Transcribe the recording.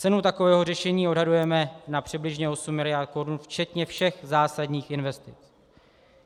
Cenu takového řešení odhadujeme na přibližně 8 miliard korun včetně všech zásadních investic.